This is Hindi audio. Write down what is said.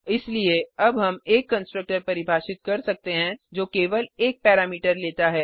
इसलिए अब हम एक कंस्ट्रक्टर परिभाषित कर सकते हैं जो केवल एक पैरामीटर लेता है